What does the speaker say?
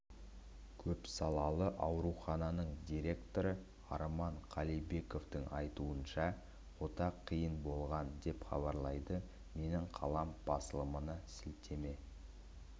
көпсалалы аурухананың директоры арман қалибековтың айтуынша ота қиын болған деп хабарлайды менің қалам басылымына сілтеме